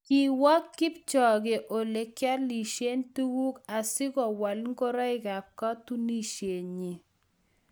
Kiwo Kipchoge olekiolishe tuguk asikwal ngorik kab katunisienyi